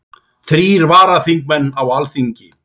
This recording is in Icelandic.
Þrír varaþingmenn á Alþingi